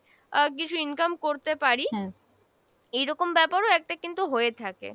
আহ কিছু income করতে পারি, এইরকম ব্যাপারও একটা কিন্তু হয়ে থাকে।